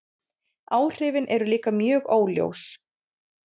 Áhrifin eru líka mjög óljós.